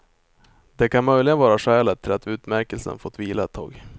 Det kan möjligen vara skälet till att utmärkelsen fått vila ett tag.